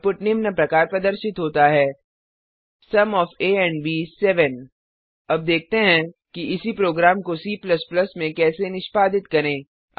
output निम्न प्रकार प्रदर्शित होता है sum of a and b is 7 अब देखते हैं कि इसी प्रोग्राम को C में कैसे निष्पादित करें